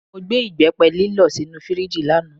Mo gbé ìbẹ́pẹ lílọ̀ sínú fíríjì lánàá.